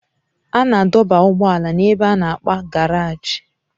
A na-adọba ụgbọala n'ebe a na-akp garagi